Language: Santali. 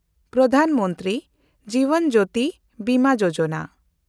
ᱯᱨᱚᱫᱷᱟᱱ ᱢᱚᱱᱛᱨᱤ ᱡᱤᱵᱚᱱ ᱡᱳᱛᱤ ᱵᱤᱢᱟ ᱭᱳᱡᱚᱱᱟ